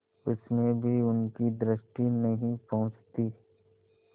उसमें भी उनकी दृष्टि नहीं पहुँचती